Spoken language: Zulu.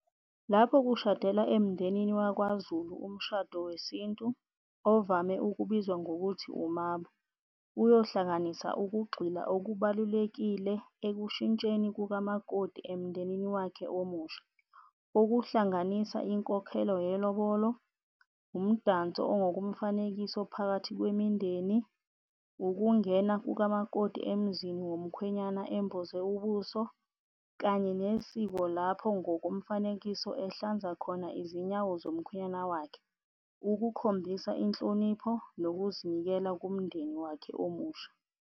Lapho kushadela emndenini wakwaZulu umshado wesintu okubizwa ngokuthi umabo, uyohlanganisa ukugxila okubalulekile ekushintsheni kukamakoti emndenini wakhe omusha. Ukuhlanganisa inkokhelo yelobolo, umdanso ongomfanekiso phakathi kwemindeni, ukungena kukamakoti emzini womkhwenyana emboze ubuso, kanye nesiko lapho ngokomfanekiso ehlanza khona izinyawo zomkhwenyana wakhe ukukhombisa inhlonipho nokuzinikela kumndeni wakhe omusha.